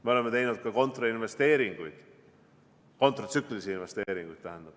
Me oleme teinud ka kontratsüklilisi investeeringuid.